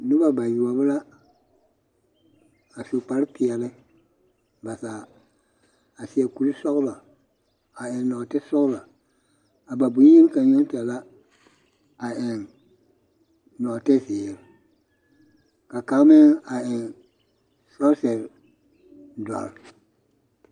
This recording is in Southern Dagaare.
Noba mine la a su kpar peɛle ba zaa a seɛ kuri sɔɔlɔ a eŋ nɔɔte sɔɔlɔ a ba bonyenee kaŋ yoŋ la a tuŋ nɔɔte zeere ka kaŋ meŋ a eŋ sɔɔsere dɔre